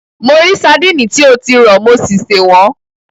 Mo rí àwọn sadíìnì tí o ti rọ̀, mo sì sè wọ́n.